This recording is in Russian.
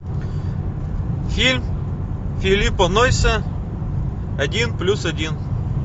фильм филиппа нойса один плюс один